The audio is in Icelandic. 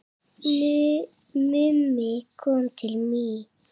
Mummi kom til mín í